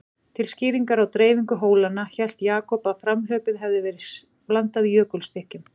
Til skýringar á dreifingu hólanna, hélt Jakob að framhlaupið hefði verið blandað jökulstykkjum.